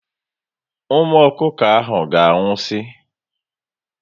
Ụmụ ọkụkọ ahụ ga anwụsi